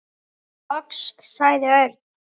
Loks sagði Örn.